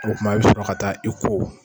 O kuma i bɛ sɔrɔ ka taa i ko.